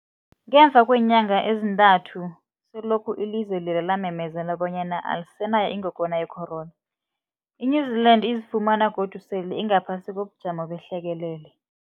Ngemva kweenyanga ezintathu selokhu ilizwe lela lamemezela bonyana alisenayo ingogwana ye-corona, i-New-Zealand izifumana godu sele ingaphasi kobujamo behlekelele.